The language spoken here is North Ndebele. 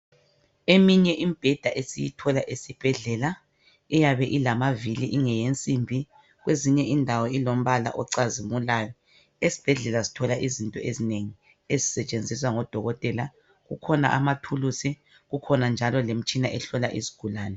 Eminye imibheda esiyithola esibhedlela, iyabe ilamavili ingeyensimbi kwezinye indawo ilombala ocazimulayo. Esibhedlela sithola izinto ezinengi ezisetshenziswa ngodokotela. Kukhona amathulusi, kukhona njalo lemitshina ehlola izigulane.